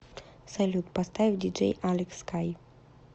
салют поставь диджей алекс скай